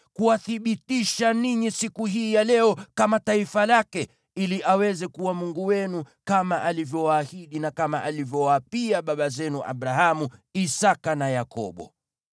kuwathibitisha ninyi siku hii ya leo kama taifa lake, ili aweze kuwa Mungu wenu kama alivyowaahidi na kama alivyowaapia baba zenu Abrahamu, Isaki na Yakobo.